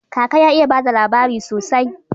Kaka ya iya bada labari sosai